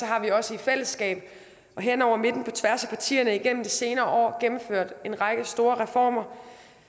har vi også i fællesskab hen over midten på tværs af partierne igennem de senere år gennemført en række store reformer